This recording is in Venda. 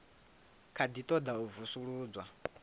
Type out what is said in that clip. kha ḓi ṱoḓa u vusuludzwa